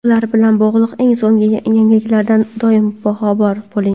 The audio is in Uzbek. ular bilan bog‘liq eng so‘nggi yangiliklardan doim boxabar bo‘ling:.